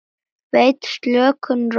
Veitir slökun, ró og frið.